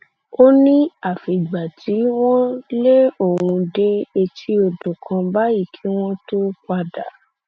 ó ní àfìgbà tí tí wọn lé òun dé etí odò kan báyìí kí wọn tóó padà